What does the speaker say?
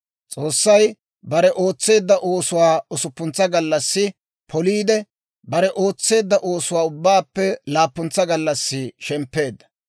S'oossay bare ootseedda oosuwaa usuppuntsa gallassi poliide, bare ootseedda oosuwaa ubbaappe laappuntsa gallassi shemppeedda.